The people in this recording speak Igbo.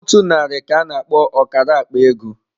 Otu narị ka-ana akpo ọkara akpa ego.